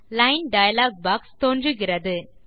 line dialog box தோன்றுகிறது